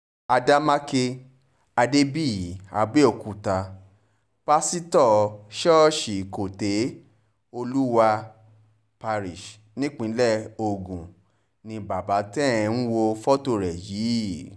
àdèmàkè àdèmàkè adébíyì àbẹ̀òkúta páṣítọ̀ ṣọ́ọ̀ṣì côte olúwa parish nípìnlẹ̀ ogun ni bàbá tẹ́ ẹ̀ ń wo fọ́tò rẹ̀ yìí